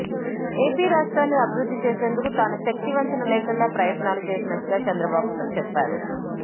AP రాష్ట్రాన్ని అభివృద్ది చేసేందుకు తాను శక్తివంచన లేకుండా ప్రయత్నాలు చేసినట్టుగా చంద్రబాబు చెప్పారు